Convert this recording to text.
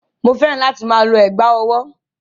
Mò fẹ́ràn láti máa lo ẹ̀gbá-ọwọ́.